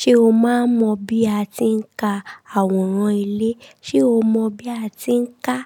Ṣé o máa mọ bí a ti ń ka àwòrán ilé? Ṣé o mọ bí a ti ń ka